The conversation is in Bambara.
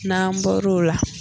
N'an bɔr'o la